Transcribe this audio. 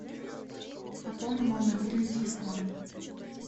пополни мой мобильный телефон